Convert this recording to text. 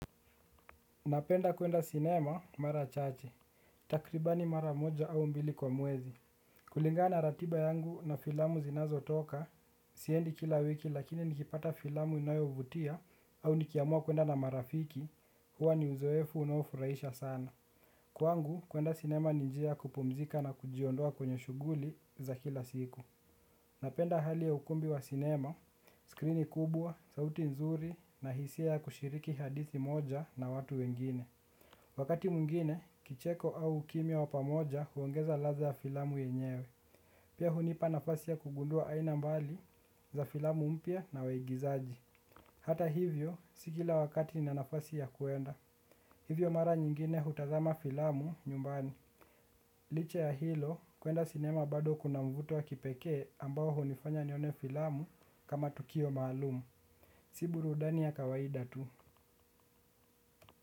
Napenda kwenda cinema mara chache, takribani mara moja au mbili kwa mwezi. Kulingana na ratiba yangu na filamu zinazotoka, siendi kila wiki lakini nikipata filamu inayovutia au nikiamua kwenda na marafiki, huwa ni uzoefu unaofuraisha sana. Kwangu, kwenda cinema ni njia ya kupumzika na kujiondoa kwenye shughuli za kila siku. Napenda hali ya ukumbi wa cinema, skrini kubwa, sauti nzuri na hisia ya kushiriki hadithi moja na watu wengine. Wakati mwingine, kicheko au kimya wa pamoja huongeza ladha ya filamu yenyewe. Pia hunipa nafasi ya kugundua aina mbali za filamu mpya na waigizaji. Hata hivyo, si kila wakati nina nafasi ya kuenda. Hivyo mara nyingine hutazama filamu nyumbani. Liche ya hilo, kuenda sinema bado kuna mvuto wa kipekee ambao hunifanya nione filamu kama tukio maalum. Si burudani ya kawaida tu.